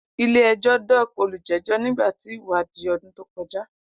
Ile-ẹjọ docked olujejo nigba ti iwadii odun to koja.